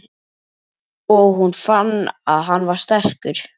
Og hún fann að hann var sterkur.